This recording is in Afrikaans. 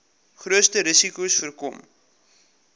grootste risikos voorkom